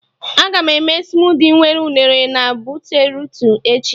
Agam eme smudi nwere unere na beetrutu echi